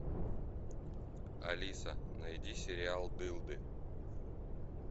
алиса найди сериал дылды